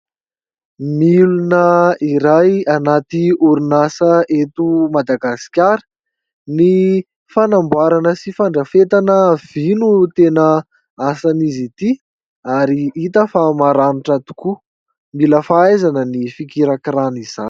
Milina iray anaty orinasa eto Madagasikara : ny fanamboarana sy fandrafetana vy no tena asan'izy ity ary hita fa maranitra tokoa, mila fahaizana ny fikirakirana izany.